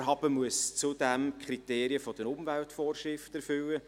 Das Vorhaben muss zudem die Kriterien der Umweltvorschriften erfüllen;